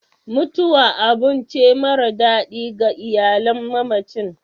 mutuwa abun ce mara dadi ga iyalan mamacin